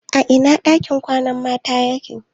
A ina ɗakin kwanan mata yake?